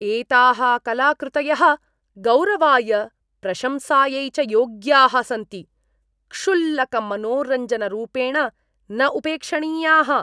एताः कलाकृतयः गौरवाय प्रशंसायै च योग्याः सन्ति, क्षुल्लकमनोरञ्जनरूपेण न उपेक्षणीयाः।